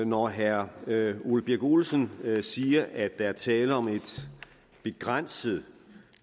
når herre ole birk olesen siger at der er tale om et begrænset